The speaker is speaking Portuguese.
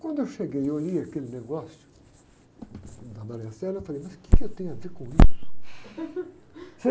Quando eu cheguei e olhei aquele negócio da, eu falei, mas o que eu tenho a ver com isso?